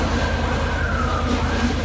Gəlin qabağa.